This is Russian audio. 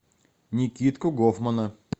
никитку гофмана